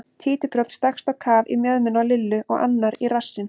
Títuprjónn stakkst á kaf í mjöðmina á Lillu og annar í rassinn.